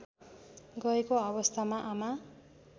गएको अवस्थामा आमा